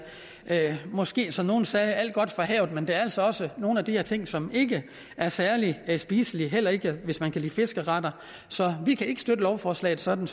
at det måske som nogle sagde er alt godt fra havet men der er altså også nogle af de her ting som ikke er særlig spiselige heller ikke hvis man kan lide fiskeretter så vi kan ikke støtte lovforslaget sådan